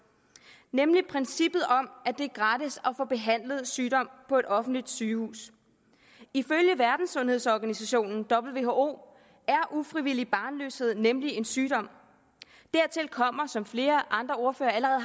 nemlig princippet om at det er gratis at få behandlet sygdom på et offentligt sygehus ifølge verdenssundhedsorganisationen who er ufrivillig barnløshed nemlig en sygdom dertil kommer som flere andre ordførere allerede